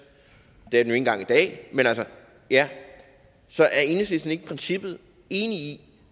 år det er den engang i dag så er enhedslisten ikke i princippet enig i